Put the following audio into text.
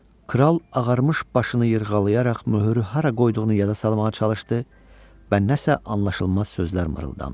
Kral ağarmış başını yırğalayaraq möhürü hara qoyduğunu yada salmağa çalışdı və nəsə anlaşılmaz sözlər mırıldandı.